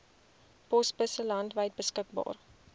posbusse landwyd beskikbaar